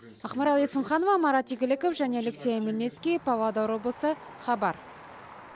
ақмарал есімханова марат игіліков және алексей омельницкий павлодар облысы хабар